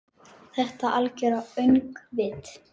Þetta algera öngvit?